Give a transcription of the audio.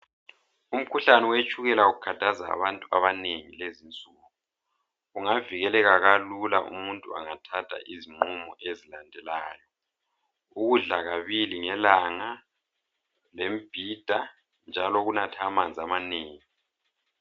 Umkhuhlane wetshukela ukhathaza abantu abanengi kulezinsuku. Ungavikileka kalula umuntu engathatha izinqumo ezilandelayo. Ukudla kabili ngelanga le mbhida njalo ukunatha amanzi amanengi.